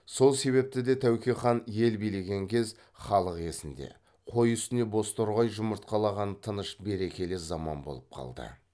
сол себепті де тәуке хан ел билеген кез халық есінде қой үстіне бозторғай жұмыртқалаған тыныш берекелі заман болып қалды